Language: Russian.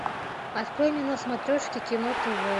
открой мне на смотрешке кино тв